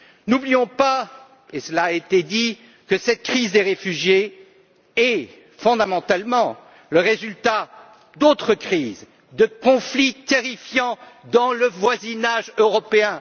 N'oublions pas, et cela a été dit, que cette crise des réfugiés est fondamentalement le résultat d'autres crises de conflits terrifiants dans le voisinage européen.